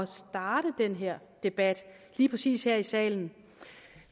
starte den her debat lige præcis her i salen